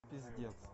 пиздец